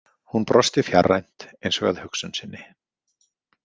Hún brosti fjarrænt, eins og að hugsun sinni.